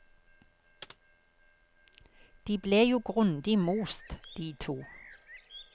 De ble jo grundig most, de to.